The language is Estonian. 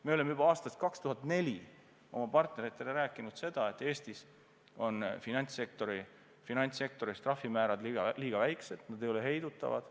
Me oleme juba aastast 2004 oma partneritele rääkinud, et Eestis on finantssektoris trahvimäärad liiga väikesed, need ei ole heidutavad.